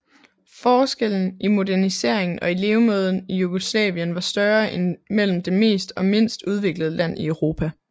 Forskellen i moderniseringen og i levemåden i Jugoslavien var større end mellem det mest og mindst udviklede land i Europa